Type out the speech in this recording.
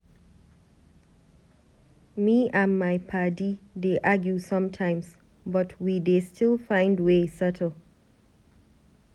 Me and my paddy dey argue sometimes but we dey still find way settle.